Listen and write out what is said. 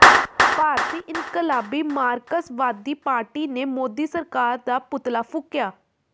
ਭਾਰਤੀ ਇਨਕਲਾਬੀ ਮਾਰਕਸਵਾਦੀ ਪਾਰਟੀ ਨੇ ਮੋਦੀ ਸਰਕਾਰ ਦਾ ਪੁਤਲਾ ਫੂਕਿਆ